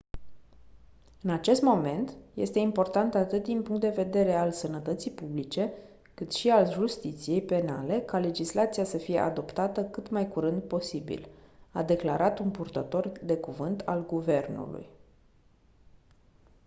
în acest moment este important atât din punct de vedere al sănătății publice cât și al justiției penale ca legislația să fie adoptată cât mai curând posibil a declarat un purtător de cuvânt al guvernului